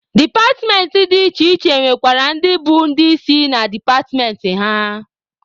Departmentị dị iche iche nwekwara ndị bụ ndị isi na departmentị ha.